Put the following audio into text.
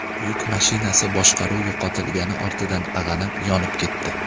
Yuk mashinasi boshqaruv yo‘qotilgani ortidan ag‘anab, yonib ketdi.